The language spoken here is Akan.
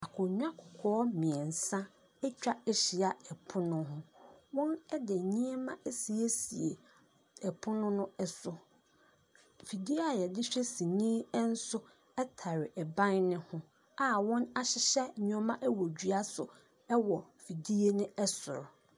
Akonnwa kɔkɔɔ mmeɛnsa atwa ahyia pono ho. Wɔde nneɛma asiesie pono no so. Afidie a wɔde hwɛ sini nso tare ban no ho a wɔahyehyɛ nneɛma wɔ dua so wɔ fidie no soro.